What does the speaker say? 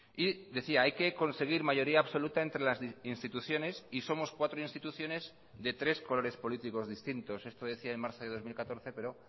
y decía hay que conseguir mayoría absoluta entre las instituciones y somos cuatro instituciones de tres colores políticos distintos esto decía en marzo de dos mil catorce pero